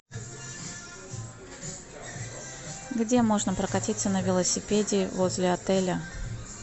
где можно прокатиться на велосипеде возле отеля